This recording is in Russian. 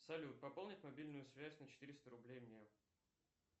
салют пополнить мобильную связь на четыреста рублей мне